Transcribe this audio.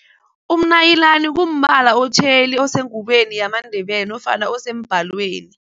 Umnayilani kumbala otjheli osengubeni yamaNdebele nofana osembhalweni.